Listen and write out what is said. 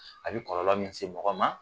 A bi kɔlɔlɔ min se mɔgɔ ma